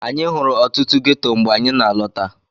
Anyị hụrụ ọtụtụ ghetto mgbe anyị na-alọta.